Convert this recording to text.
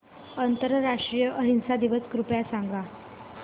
आंतरराष्ट्रीय अहिंसा दिवस कृपया सांगा